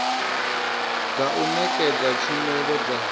dza u nekedza tshumelo dza